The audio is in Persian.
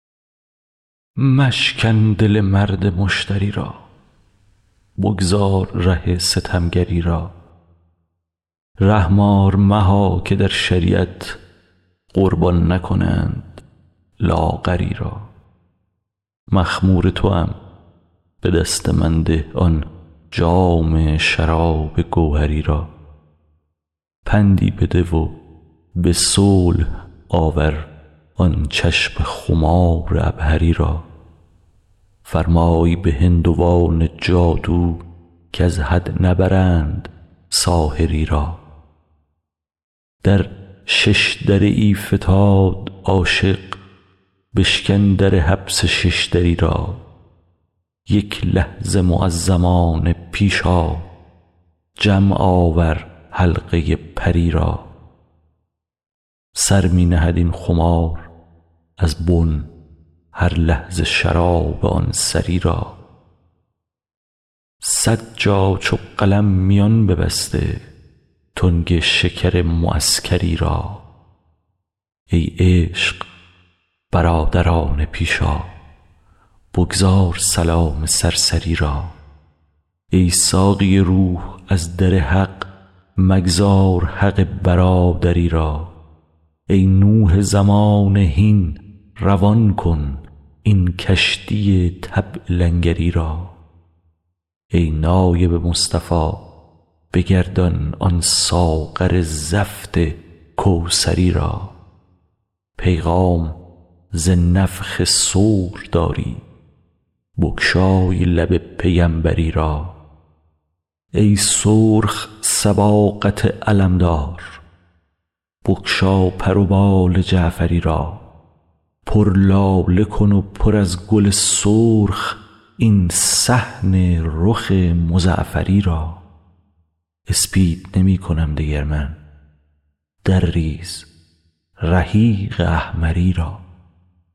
مشکن دل مرد مشتری را بگذار ره ستمگری را رحم آر مها که در شریعت قربان نکنند لاغری را مخمور توام به دست من ده آن جام شراب گوهری را پندی بده و به صلح آور آن چشم خمار عبهری را فرمای به هندوان جادو کز حد نبرند ساحری را در شش دره ای فتاد عاشق بشکن در حبس شش دری را یک لحظه معزمانه پیش آ جمع آور حلقه پری را سر می نهد این خمار از بن هر لحظه شراب آن سری را صد جا چو قلم میان ببسته تنگ شکر معسکری را ای عشق برادرانه پیش آ بگذار سلام سرسری را ای ساقی روح از در حق مگذار حق برادری را ای نوح زمانه هین روان کن این کشتی طبع لنگری را ای نایب مصطفی بگردان آن ساغر زفت کوثری را پیغام ز نفخ صور داری بگشای لب پیمبری را ای سرخ صباغت علمدار بگشا پر و بال جعفری را پر لاله کن و پر از گل سرخ این صحن رخ مزعفری را اسپید نمی کنم دگر من درریز رحیق احمری را